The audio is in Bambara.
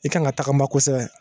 I kan ka tagama kosɛbɛ